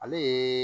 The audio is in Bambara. Ale ye